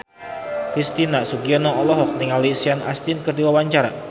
Christian Sugiono olohok ningali Sean Astin keur diwawancara